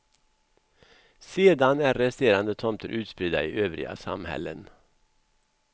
Sedan är resterande tomter utspridda i övriga samhällen.